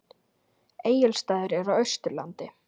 Egilsstaðir eru á Austurlandi.